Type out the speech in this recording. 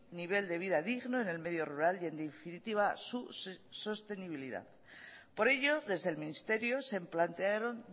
nivel de vida digno en el medio rural y en definitiva su sostenibilidad por ello desde el ministerio se plantearon